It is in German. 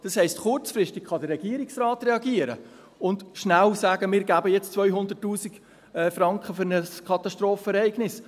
Das heisst: Der Regierungsrat kann kurzfristig reagieren und schnell sagen: «Wir geben jetzt 200’000 Franken für ein Katastrophenereignis.»